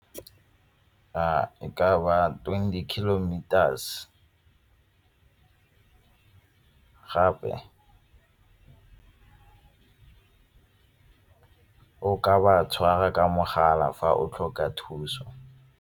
E ka ba twenty kilometers gape o ka ba tshwara ka mogala fa o tlhoka thuso.